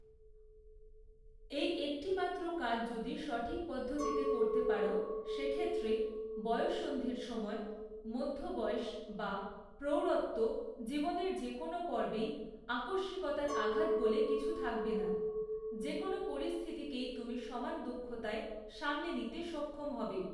এই একটি মাত্র কাজ যদি সঠিক পদ্ধতিতে করতে পারো, সেক্ষেত্রে, বয়ঃসন্ধির সময়, মধ্য বয়স বা প্রৌঢ়ত্ব জীবনের যে কোনও পর্বেই আকস্মিকতার আঘাত বলে কিছু থাকবে না; যে কোনও পরিস্থিতিকেই তুমি সমান দক্ষতায় সামলে নিতে সক্ষম হবে।